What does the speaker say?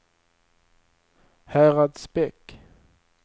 Häradsbäck